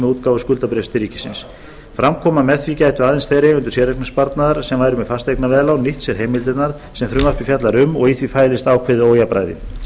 útgáfu skuldabréfs til ríkisins fram kom að með því gætu aðeins þeir eigendur séreignarsparnaðar sem væru með fasteignaveðlán nýtt sér heimildirnar sem frumvarpið fjallar um og í því fælist ákveðið ójafnræði